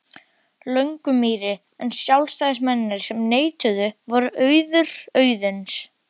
Löngumýri, en sjálfstæðismennirnir sem neituðu voru Auður Auðuns